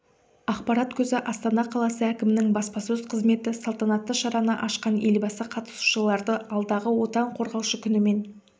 ақпарат көзі астана қаласы әкімінің баспасөз қызметі салтанатты шараны ашқан елбасы қатысушыларды алдағы отан қорғаушы күнімен